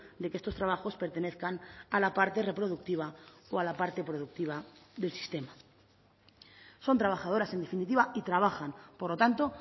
de que estos trabajos pertenezcan a la parte reproductiva o a la parte productiva del sistema son trabajadoras en definitiva y trabajan por lo tanto